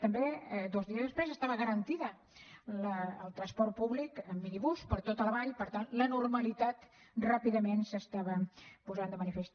també dos dies després estava garantit el transport públic en microbús per tota la vall per tant la normalitat ràpidament es posava de manifest